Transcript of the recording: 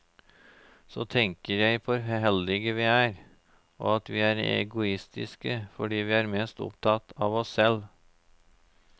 Så tenker jeg på hvor heldige vi er, og at vi er egoistiske fordi vi er mest opptatt av oss selv.